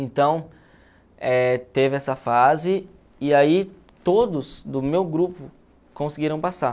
Então, eh teve essa fase e aí todos do meu grupo conseguiram passar.